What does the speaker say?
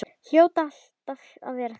Hljóta alltaf að verða það.